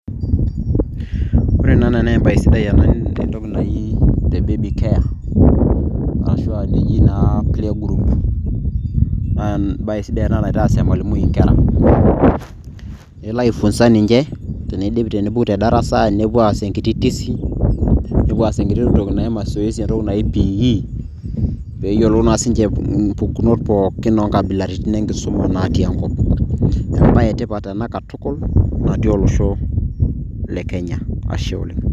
Ore ena naa embaye sidai tentoki naii te baby care ashuu eji naa play group naa embaye sidai ena naitaas emalimui inkera kelo aifunza teneidip tenepuku tedarasa nepuo aas enkiti tizi nepuo aas enkiti toki naji mazoezi entoki naji p.e pee yiolou naa sii ninche impukunot pooki oonkabilaritin enkisuma naatii enkop embaye etipat ena katukul natii olosho le kenya ashe oleng.